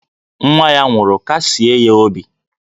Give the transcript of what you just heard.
Nwa ya nwụrụ, kasie ya obi!